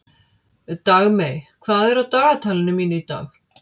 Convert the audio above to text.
Dagmey, hvað er á dagatalinu mínu í dag?